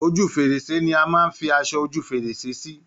Ojú fèrèsé ni a máa ń fi aṣọ ojú fèrèsé sí.